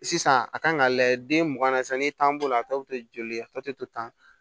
Sisan a kan ka lajɛ den mugan na sisan n'i t'an bolo a ta bɛ to joli a tɔ tɛ to tan